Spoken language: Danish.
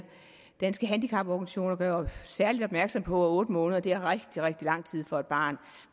danske handicaporganisationer gør særlig opmærksom på at otte måneder er rigtig rigtig lang tid for et barn